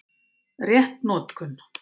Rétt notkun